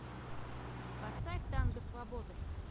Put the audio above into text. поставь танго свободы